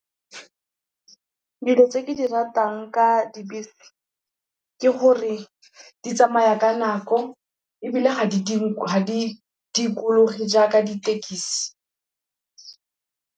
Dilo tse ke di ratang ka dibese, ke gore di tsamaya ka nako ebile ga di dikologe jaaka ditekisi.